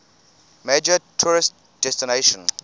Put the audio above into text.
major tourist destination